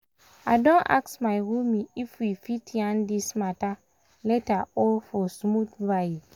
i don ask my roomie if we we fit yarn this matter later for smooth vibe.